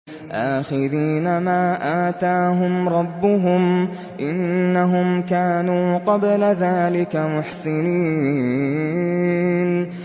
آخِذِينَ مَا آتَاهُمْ رَبُّهُمْ ۚ إِنَّهُمْ كَانُوا قَبْلَ ذَٰلِكَ مُحْسِنِينَ